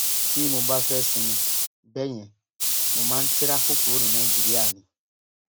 tí mo bá fẹẹ sinmi bẹẹ yẹn mo máa ń tirafù kúrò ní nàìjíríà ni